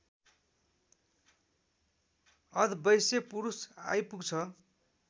अधवैँसे पुरुष आइपुग्छ